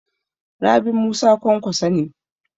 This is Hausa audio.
Rabi Musa Kwankwaso ne.